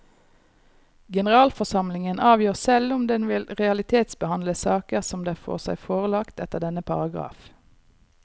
Generalforsamlingen avgjør selv om den vil realitetsbehandle saker som den får seg forelagt etter denne paragraf.